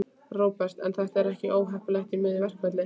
Róbert: En er þetta ekki óheppilegt í miðju verkfalli?